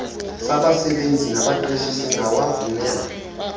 sabasebenzi nabaqeshi singawavumela